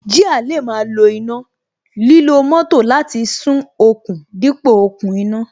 Jíà lè máa lo iná, lílo moto láti sún okùn dípò okùn iná